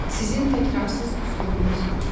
Sizin təkrarsız üslubunuz var.